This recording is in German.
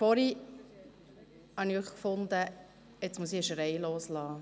Vorhin fand ich, ich müsse einen Schrei loslassen.